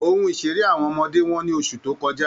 Ohun ìṣeré àwọn ọmọdé wọ́n ní oṣù tó kọjá